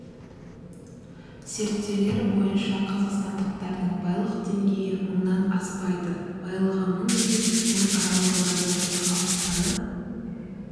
зерттеулер бойынша қазақстандықтардың байлық деңгейі мыңнан аспайды байлығы мың мен мың аралығында болатын халық саны